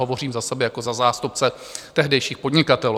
Hovořím za sebe jako za zástupce tehdejších podnikatelů.